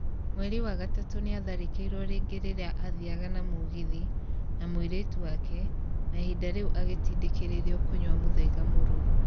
Mweri wa gatatu nĩatharĩkĩirwo rĩngĩ rĩria athiaga na mũgithi na mũirĩtu wake na ihinda rĩu agĩtindĩkĩrĩrio kũnyua mũthaiga mũrũrũ